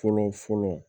Fɔlɔ fɔlɔ